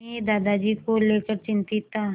मैं दादाजी को लेकर चिंतित था